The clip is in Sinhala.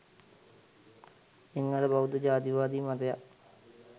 සිංහල බෞද්ධ ජාතිවාදී මතයක්